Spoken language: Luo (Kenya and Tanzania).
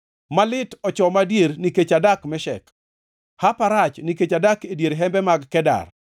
Malit ochoma adier nikech adak Meshek, hapa rach nikech adak e dier hembe mag Kedar!